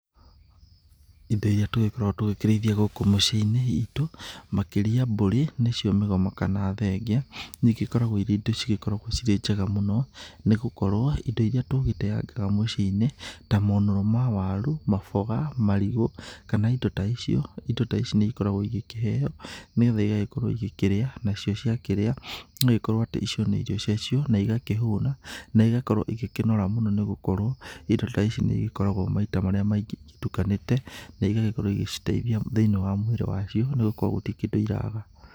Indo iria tũgĩkoragwo tũgĩkĩrĩithia gũkũ mĩciĩ-inĩ itũ, makĩria mbũri, nĩcio mĩgoma kana thenge, nĩ igĩkoragwo irĩ indo cigĩkoragwo cirĩ njega mũno, nĩ gũkorwo indo iria tũgĩteyangaga mũciĩ-inĩ ta monũro ma waru, maboga, marigũ kana indo ta icio, indo ta ici nĩ igĩkoragwo ikĩheo nĩgetha igagĩkorwo igĩkĩrĩa, nacio ciakĩrĩa no ikorwo atĩ icio nĩ irio ciacio, na igakĩhũna na igakorwo igĩkĩnora mũno nĩ gũkorwo indo ta ici nĩ igĩkoragwo maita marĩa maingĩ igĩtukanĩte na igagĩkorwo igĩciteithia thĩ-inĩ wa mwĩrĩ wacio nĩ gũkorwo gũtirĩ kĩndũ iraga.